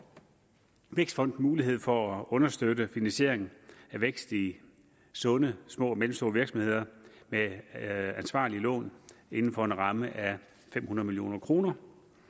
vækstfonden mulighed for at understøtte finansieringen af vækst i sunde små og mellemstore virksomheder med ansvarlige lån inden for en ramme af fem hundrede million kroner